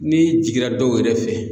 N'i jiginna dɔw yɛrɛ fɛ